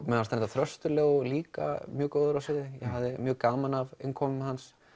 mér fannst Þröstur Leó líka mjög góður á sviði ég hafði mjög gaman af innkomu hans